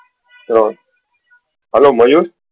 hello Mayur